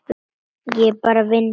Ég bara vinn hér.